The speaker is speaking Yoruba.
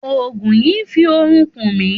Ògùn yìí n fi orun kùn mi